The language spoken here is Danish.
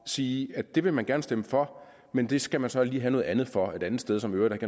siger at det vil man gerne stemme for men det skal man så lige have noget andet for et andet sted som i øvrigt